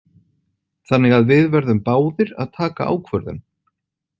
Þannig að við verðum báðir að taka ákvörðun.